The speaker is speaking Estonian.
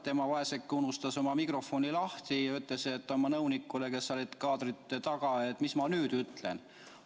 Tema vaeseke unustas oma mikrofoni lahti ja küsis oma nõunikult, kes oli kaadri taga, et mis ma nüüd ütlen.